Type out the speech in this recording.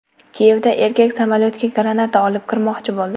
Kiyevda erkak samolyotga granata olib kirmoqchi bo‘ldi.